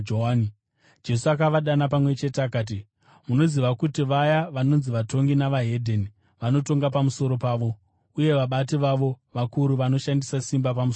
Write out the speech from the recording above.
Jesu akavadana pamwe chete akati, “Munoziva kuti vaya vanonzi vatongi neveDzimwe Ndudzi vanotonga pamusoro pavo, uye vabati vavo vakuru vanoshandisa simba pamusoro pavo.